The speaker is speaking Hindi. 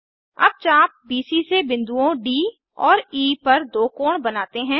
अब चाप बीसी से बिन्दुओं डी और ई पर दो कोण बनाते हैं